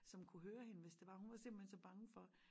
Som kunne høre hende hvis det var hun var simpelthen så bange for